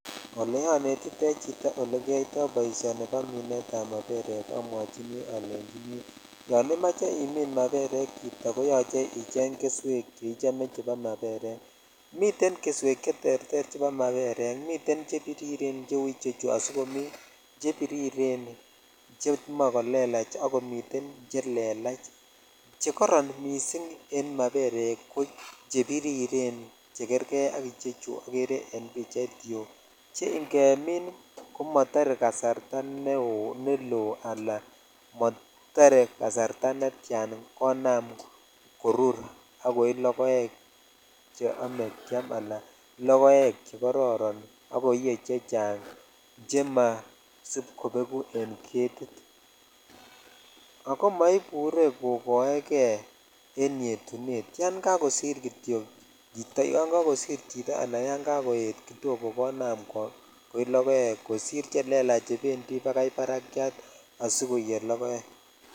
Olonetitoi chito olee kiyoito boishoni bo minetab ma erek amwochini olenchini yoon imoe imin maberek chito koyoche icheng keswek cheichome chebo maberek, miten keswek cheterter chebo maberek miten chebiriren cheuu ichechu asikomii chebiriren chemoe kolelach ak komiten chelelach, chekoron mising en maberek ko che biriren che kerkee ak ichechu okere en pichait yuu cheng'emin komotore kasarta neloo alaan motore kasarta netian konam korur akoii lokoek cheome kiam alaan lokoek chekororon ak koiyee chechang vhemasib kobeku en ketit, ak ko moibure kokoekee en yetunet yoon kokosir kitiok chito, yoon kokosir chito alaan yoon kokoet kidogo konaam koi lokoek kosir chelelach chebendi bakai barakiat asikoiye lokoek.